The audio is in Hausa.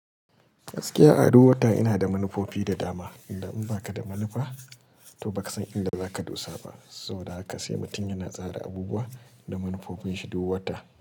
Gaskiya a du wata ina da manufofi da dama. Idan in baka da manufa, to baka san inda zaka dosa ba. Saboda haka sai mutum yana tsara abubuwa da manufofin shi duk wata.